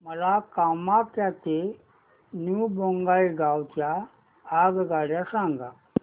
मला कामाख्या ते न्यू बोंगाईगाव च्या आगगाड्या सांगा